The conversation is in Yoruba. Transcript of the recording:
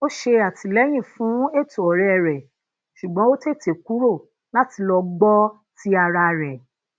ó ṣe àtìlẹyìn fún ètò ọrẹ rẹ ṣùgbọn ó tètè kùrò láti lọ gbọ ti ara rẹ